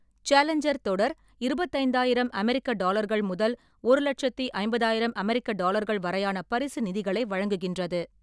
Challenger தொடர் இருபத்தைந்தாயிரம் அமெரிக்க டாலர்கள் முதல் ஒரு லட்சத்தி ஐம்பதாயிரம் அமெரிக்க டாலர்கள் வரையான பரிசு நிதிகளை வழங்குகின்றது.